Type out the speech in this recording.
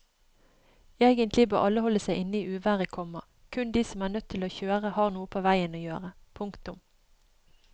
Egentlig bør alle holde seg inne i uværet, komma kun de som er nødt til å kjøre har noe på veien å gjøre. punktum